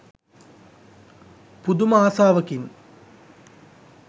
පුදුම ආසාවකින්.